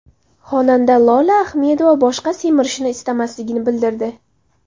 Xonanda Lola Ahmedova boshqa semirishni istamasligini bildirdi.